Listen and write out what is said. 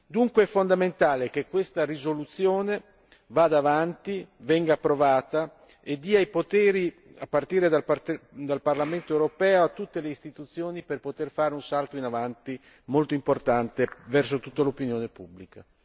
Dunque è fondamentale che questa risoluzione vada avanti, venga approvata e dia i poteri a partire dal Parlamento europeo a tutte le istituzioni per poter fare un salto in avanti molto importante verso tutta l'opinione pubblica.